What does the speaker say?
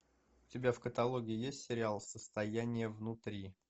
у тебя в каталоге есть сериал состояние внутри